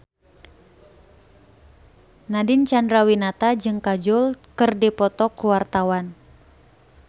Nadine Chandrawinata jeung Kajol keur dipoto ku wartawan